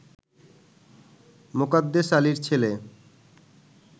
মোকাদ্দেস আলীর ছেলে